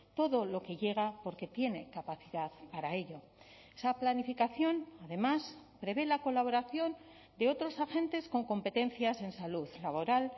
todo lo que llega porque tiene capacidad para ello esa planificación además prevé la colaboración de otros agentes con competencias en salud laboral